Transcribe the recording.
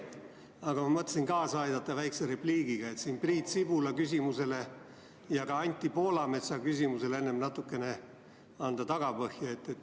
Aga ma mõtlesin kaasa aidata väikese repliigiga, et Priit Sibula ja ka Anti Poolametsa küsimusele natukene tagapõhja anda.